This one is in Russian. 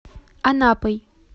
анапой